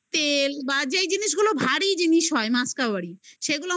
তেল বা যেই জিনিস গুলো ভারী জিনিস হয় মাসকভারি সেগুলো